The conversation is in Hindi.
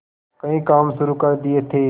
कई काम शुरू कर दिए थे